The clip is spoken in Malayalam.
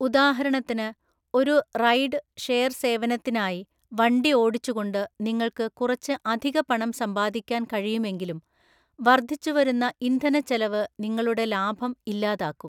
ഉദാഹരണത്തിന്, ഒരു റൈഡ് ഷെയർ സേവനത്തിനായി വണ്ടി ഓടിച്ചുകൊണ്ട് നിങ്ങൾക്ക് കുറച്ച് അധിക പണം സമ്പാദിക്കാൻ കഴിയുമെങ്കിലും, വർദ്ധിച്ചുവരുന്ന ഇന്ധനച്ചെലവ് നിങ്ങളുടെ ലാഭം ഇല്ലാതാക്കും.